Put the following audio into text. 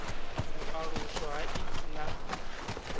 u aluswa ha ik na